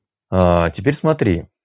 аа теперь смотри